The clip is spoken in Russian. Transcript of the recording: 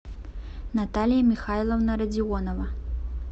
наталья михайловна родионова